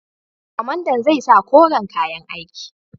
Kwamandan zai sa koren kayan aiki.